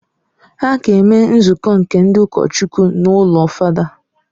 A ga-eme nzukọ nke ndị ụkọchukwu n’ụlọ fada